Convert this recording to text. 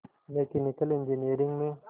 mechanical engineering में